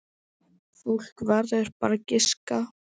Fólk verður bara að giska.